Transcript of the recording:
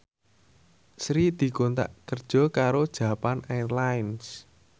Sri dikontrak kerja karo Japan Airlines